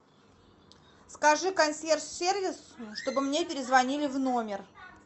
скажи консьерж сервису чтобы мне перезвонили в номер